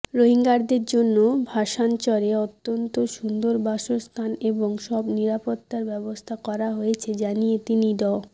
রোহিঙ্গাদের জন্য ভাসানচরে অত্যন্ত সুন্দর বাসস্থান এবং সব নিরাপত্তার ব্যবস্থা করা হয়েছে জানিয়ে তিনি ড